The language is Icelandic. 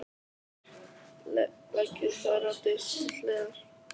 Leggið þær á disk til hliðar.